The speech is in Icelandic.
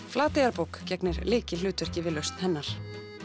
Flateyjarbók gegnir lykilhlutverki við lausn hennar